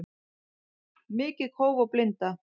Mikið kóf og blinda